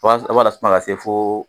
I b'a lasumaya ka se fo